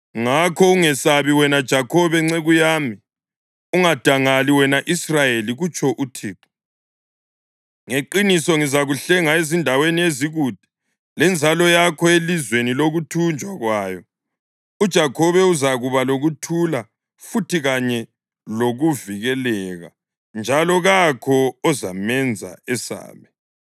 Ngakho ungesabi, wena Jakhobe nceku yami; ungadangali, wena Israyeli,’ kutsho uThixo. ‘Ngeqiniso ngizakuhlenga ezindaweni ezikude, lenzalo yakho elizweni lokuthunjwa kwayo. UJakhobe uzakuba lokuthula futhi kanye lokuvikeleka, njalo kakho ozamenza esabe.